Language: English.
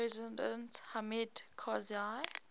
president hamid karzai